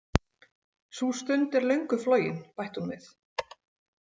Sú stund er löngu flogin, bætti hún við.